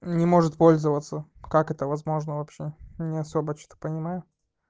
не может пользоваться как это возможно вообще не особо что-то понимаю